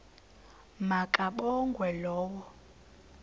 ma kabongwe low